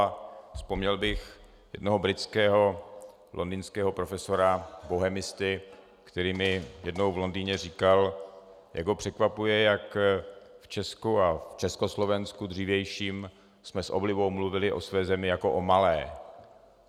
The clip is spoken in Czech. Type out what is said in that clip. A vzpomněl bych jednoho britského londýnského profesora, bohemisty, který mi jednou v Londýně říkal, jak ho překvapuje, že v Česku a v Československu dřívějším jsme s oblibou mluvili o své zemi jako o malé.